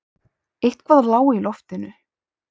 Eitthvað lá í loftinu.